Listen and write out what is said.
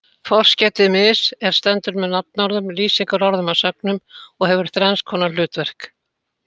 Forskeytið mis- er stendur með nafnorðum, lýsingarorðum og sögnum og hefur þrenns konar hlutverk.